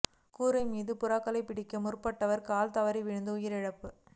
கூரை மீதேறி புறாக்களைப் பிடிக்க முற்பட்டவர் கால் தவறி வீழ்ந்து உயிரிழப்பு